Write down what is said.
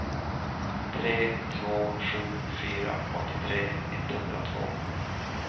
tre två sju fyra åttiotre etthundratvå